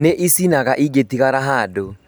Nĩ icinaga ĩngĩtigara handũ